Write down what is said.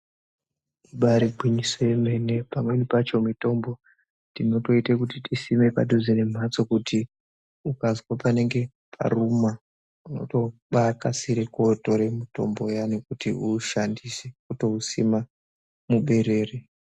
Ibaari gwinyiso yemene pamweni pacho mitombo tinotoite kuti tisime padhuze nemhatso kuti ukazwa panenge paruma wotobaakasire kotore mutombo uyani kuti uushandise wotousima muberere.